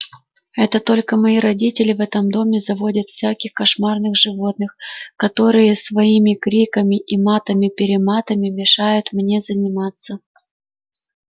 это только мои родители в этом доме заводят всяких кошмарных животных которые своими криками и матами-перематами мешают мне заниматься